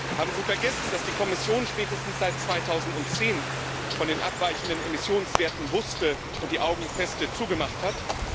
Haben Sie vergessen, dass die Kommission spätestens seit 2010 von den abweichenden Emissionswerten wusste und die Augen fest zugemacht hat?